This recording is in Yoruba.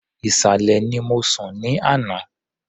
Ìsàlẹ̀ ni mo sùn ní àná.